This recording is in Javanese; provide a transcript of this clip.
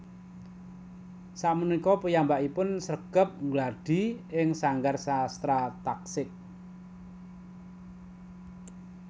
Sapunika piyambakipun sregep nggladhi ing Sanggar Sastra Tasik